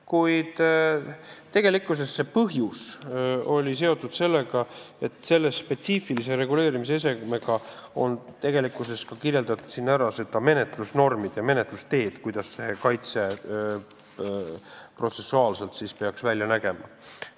Kuid tegelikkuses oli see põhjus seotud sellega, et selle spetsiifilise reguleerimisesemega on kirjeldatud ära menetlusnormid ja menetlusteed, kuidas see kaitse protsessuaalselt peaks välja nägema.